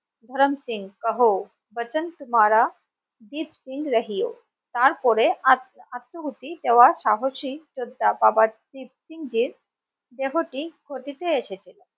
ধরেন সিং কাহো বাচন তুমহারা জিৎ সিং রাহিও, তার পরে আত্ম আত্মভুতি দেওয়ার সাহসী শ্রদ্ধা বাবা দ্বীপ সিং জীর দেহটি খতিতে এসেছিলো